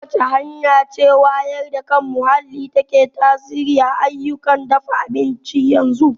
Ta wace hanya ce wayar da kan muhalli ke tasiri kan ayyukan dafa abinci a yanzu?